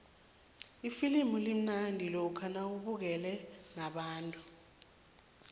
ifilimu limnandi lokha nawubukele nabantu